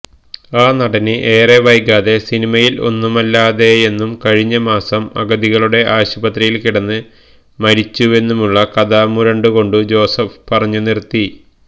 ആ നടന് ഏറെ വൈകാതെ സിനിമയില് ഒന്നുമല്ലാതായെന്നും കഴിഞ്ഞമാസം അഗതികളുടെ ആശുപത്രിയില് കിടന്ന് മരിച്ചുവെന്നുമുള്ള കഥ മുരണ്ടുകൊണ്ടു ജോസഫ് പറഞ്ഞുനിര്ത്തി